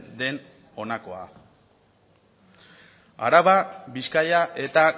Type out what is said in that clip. den honakoa araba bizkaia eta